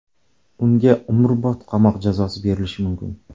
Unga umrbod qamoq jazosi berilishi mumkin.